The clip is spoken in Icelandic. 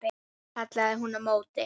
kallaði hún á móti.